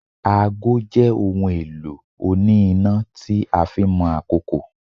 Aago jé ohun elo oni ina tí a fin Mo àkókò